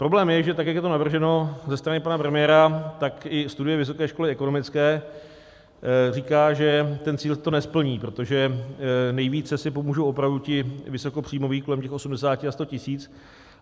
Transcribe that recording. Problém je, že tak jak je to navrženo ze strany pana premiéra, tak i studie vysoké školy ekonomické říká, že ten cíl to nesplní, protože nejvíce si pomůžou opravdu ti vysokopříjmoví, kolem těch 80 a 100 tis.